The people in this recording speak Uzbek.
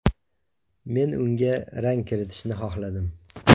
Men unga rang kiritishni xohladim.